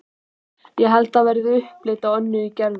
Það held ég verði upplit á Önnu í Gerði.